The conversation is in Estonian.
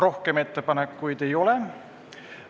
Rohkem ettepanekuid ei ole.